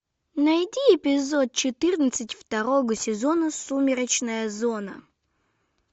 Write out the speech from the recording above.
найди эпизод четырнадцать второго сезона сумеречная зона